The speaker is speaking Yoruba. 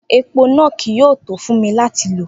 Epo naa kii yoo to fun mi lati lo.